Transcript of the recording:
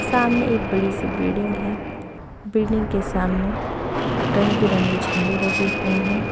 सामने एक बड़ी सी बिल्डिंग है बिल्डिंग के सामने रंग बिरंगी झंडे लगे हुए हैं।